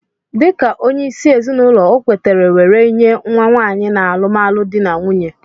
Dika onye isi ezinụlọ okwetere weree nye nwa nwanyi na alụmalụ di n'nwunye.